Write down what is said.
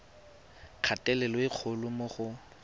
kgatelelo e kgolo mo go